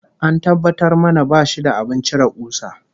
An tabbatar mana bashi da abin cire kusa